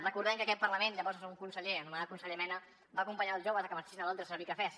recordem que en aquest parlament llavors un conseller anomenat conseller mena va acompanyar els joves a que marxessin a londres a servir cafès